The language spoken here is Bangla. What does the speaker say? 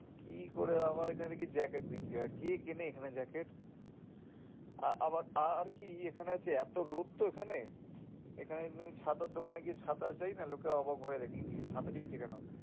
কি করে এখানে দেখি আবার Jacket বিক্রি হয় কে কেনে এখানে Jacket? আহ আবার আহ আর কি ই এখানে আছে এত রোদ তো এখানে এখানে তুমি ছাতার দোকানে চায় না? লোকরা অবাক হয়ে যায় কি রে ছাতা চাইছে কেন?